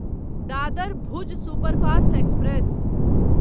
Dadar Bhuj superfast express